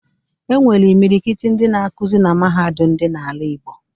E nwekwere imilikiti ndị na-akuzi na Mahadum dị n'ala Igbo